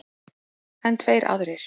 En tveir aðrir